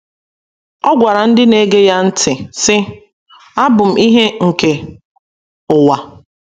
Ọ gwara ndị na - ege ya ntị, sị: “ Abụ m ìhè nke ụwa.